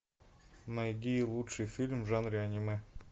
найди лучший фильм в жанре аниме